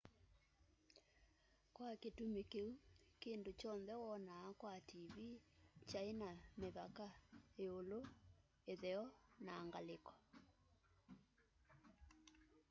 kwa kitumi kiu kindu kyonthe wonaa kwa tv kyai na mivaka iulu itheo na ngaliko